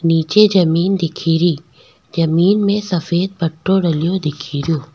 निचे जमीं दिखेरी जमीं में सफ़ेद पट्टो डलो दिखेरो।